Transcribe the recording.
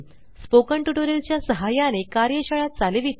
spoken tutorial च्या सहाय्याने कार्यशाळा चालविते